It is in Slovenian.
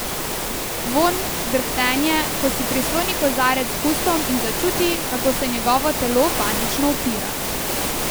Vonj, drhtenje, ko si prisloni kozarec k ustom in začuti, kako se njegovo telo panično upira.